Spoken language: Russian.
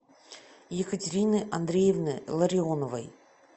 екатерины андреевны ларионовой